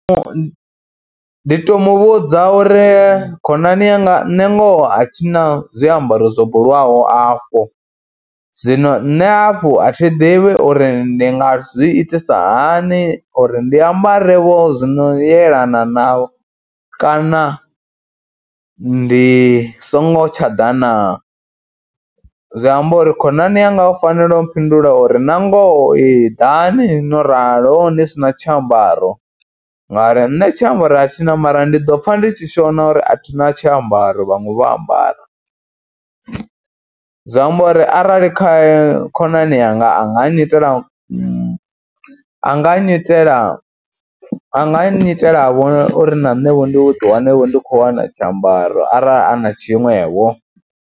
Ndi tou mu vhudza uri khonani yanga nṋe ngoho a thi na zwiambaro zwo bulwaho afho, zwino nṋe hafhu a thi ḓivhi uri ndi nga zwi itisa hani uri ndi ambarevho zwino yelana navho kana ndi songo tsha ḓa naa. Zwi amba uri khonani yanga u fanela u mphindula uri na ngoho ee ḓani no ralo ni si na tshiambaro ngauri nṋe tshiambaro a thi na mara ndi ḓo pfha ndi tshi shona uri a thi na tshiambaro, vhaṅwe vho ambara zwa amba uri arali kha khonani yanga a nga nyitela a nga nyitela a nga nnyitelevho uri na nṋevho ndi ḓiwane ndi khou wana tshiambaro arali a na tshiṅwevho.